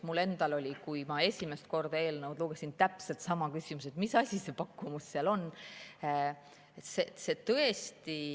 Mul endal oli, kui ma esimest korda eelnõu lugesin, täpselt sama küsimus, et mis asi see pakkumus seal on.